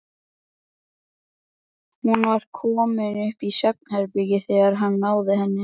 Hún var komin upp í svefnherbergi þegar hann náði henni.